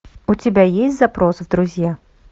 у тебя есть запрос в друзья